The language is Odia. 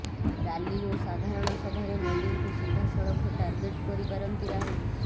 ରାଲି ଓ ସାଧାରଣ ସଭାରେ ମୋଦିଙ୍କୁ ସିଧାସଳଖ ଟାର୍ଗେଟ କରିପାରନ୍ତି ରାହୁଲ